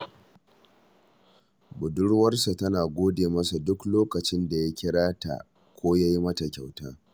Badurwarsa tana gode masa duk lokacin da ya kira ta ko ya yi mata kyauta